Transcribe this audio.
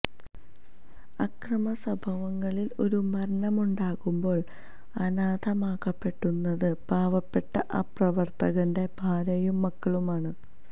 അക്രമസംഭവങ്ങളില് ഒരു മരണമുണ്ടാകുമ്പോള് അനാഥമാക്കപ്പെടുന്നത് പാവപ്പെട്ട ആ പ്രവര്ത്തകന്റെ ഭാര്യയും മക്കളുമാണ്